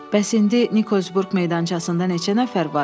Bəs indi Nikolsburq meydançasında neçə nəfər var?